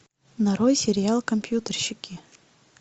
нарой сериал компьютерщики